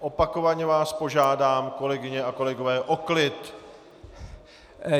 Opakovaně vás požádám, kolegyně a kolegové, o klid!